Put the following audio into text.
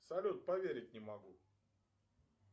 салют поверить не могу